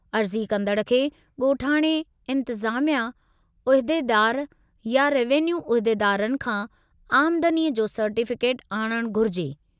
अर्ज़ी कंदड़ खे ॻोठाणे इंतिज़ामिया उहिदेदारु या रेवेन्यू उहिदेदारनि खां आमदनीअ जो सर्टिफिकेट आणणु घुरिजे।